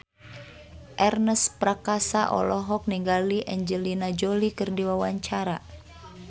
Ernest Prakasa olohok ningali Angelina Jolie keur diwawancara